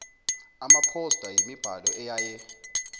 amaphosta yimibhalo eyaye